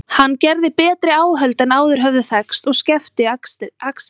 Hann gerði betri áhöld en áður höfðu þekkst og skefti axir.